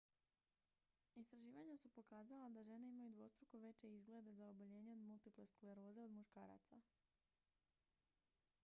istraživanja su pokazala da žene imaju dvostruko veće izglede za oboljenje od multiple skleroze od muškaraca